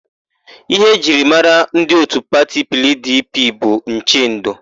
Íhé e ji mara ndị òtù pati PIiDIiPIi bụ nchendo.